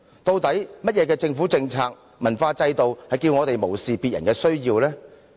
究竟甚麼政府政策和文化制度叫我們無視別人的需要呢？